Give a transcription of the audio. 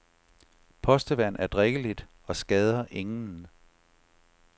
Postevand er drikkeligt og skader ingen.